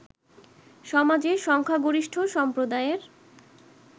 সমাজের সংখ্যাগরিষ্ঠ সম্প্রদায়ের